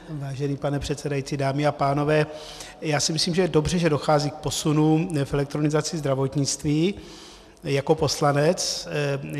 Vážený pane předsedající, dámy a pánové, já si myslím, že je dobře, že dochází k posunům v elektronizaci zdravotnictví - jako poslanec.